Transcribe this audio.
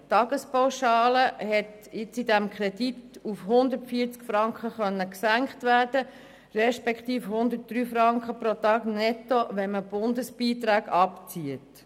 Die Tagespauschale konnte in diesem Kredit auf 140 Franken gesenkt werden respektive auf 103 Franken netto, wenn man die Bundesbeiträge abzieht.